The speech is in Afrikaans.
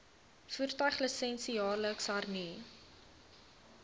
voertuiglisensie jaarliks hernu